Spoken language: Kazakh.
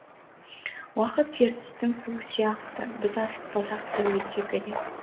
уақыт ертістің суы сияқты біз асықпасақ та өте береді